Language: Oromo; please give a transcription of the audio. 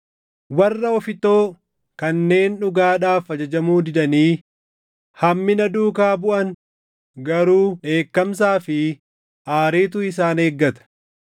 Warra ofittoo kanneen dhugaadhaaf ajajamuu didanii hammina duukaa buʼan garuu dheekkamsaa fi aariitu isaan eeggata.